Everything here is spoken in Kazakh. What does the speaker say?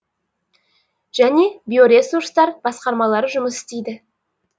және биоресурстар басқармалары жұмыс істейді